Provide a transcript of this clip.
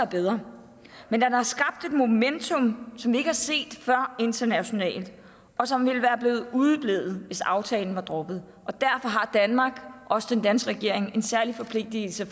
bedre men den har skabt et momentum som vi ikke har set før internationalt og som ville være udeblevet hvis aftalen var droppet og derfor har danmark og den danske regering en særlig forpligtelse